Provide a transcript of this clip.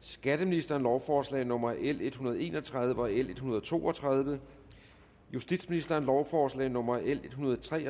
skatteministeren lovforslag nummer l en hundrede og en og tredive og l en hundrede og to og tredive justitsministeren lovforslag nummer l en hundrede og tre